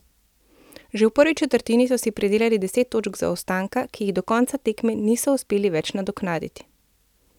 Že v prvi četrtini so si pridelali deset točk zaostanka, ki jih do konca tekme niso uspeli več nadoknaditi.